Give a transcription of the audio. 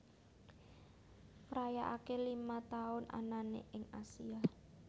ngrayakake lima tahun anane ing Asia